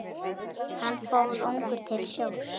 Hann fór ungur til sjós.